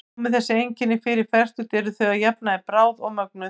Komi þessi einkenni fyrir fertugt eru þau að jafnaði bráð og mögnuð.